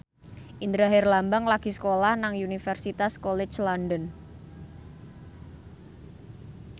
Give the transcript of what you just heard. Indra Herlambang lagi sekolah nang Universitas College London